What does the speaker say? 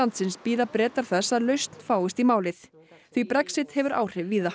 landsins bíða Bretar þess að lausn fáist í málið því Brexit hefur áhrif víða